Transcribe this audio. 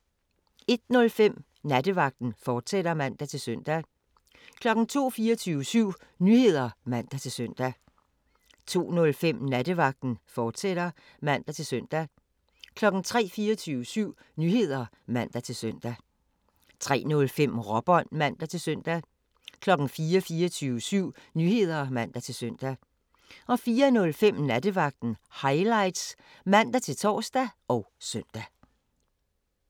01:05: Nattevagten, fortsat (man-søn) 02:00: 24syv Nyheder (man-søn) 02:05: Nattevagten, fortsat (man-søn) 03:00: 24syv Nyheder (man-søn) 03:05: Råbånd (man-søn) 04:00: 24syv Nyheder (man-søn) 04:05: Nattevagten Highlights (man-tor og søn)